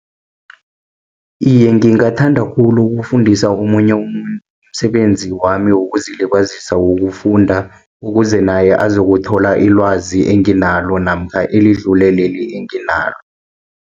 Iye, ngingathanda khulu kufundisa omunye umuntu, umsebenzi wami wokuzilibazisa wokufunda, ukuze naye azokuthola ilwazi enginalo, namkha elidlule leli enginalo.